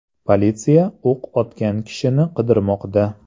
Politsiya o‘q otgan kishini qidirmoqda.